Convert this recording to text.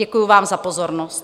Děkuji vám za pozornost.